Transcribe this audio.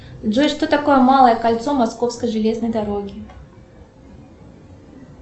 джой что такое малое кольцо московской железной дороги